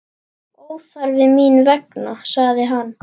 Óþarfi mín vegna, sagði hann.